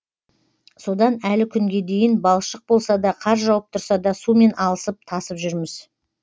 содан әлі күнге дейін балшық болса да қар жауып тұрса да сумен алысып тасып жүрміз